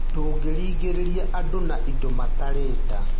Ndũngĩrigĩrĩria andũ na indo matarenda.